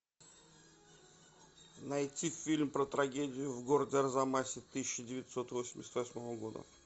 найти фильм про трагедию в городе арзамасе тысяча девятьсот восемьдесят восьмого года